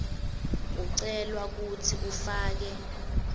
ucelwa kutsi ufake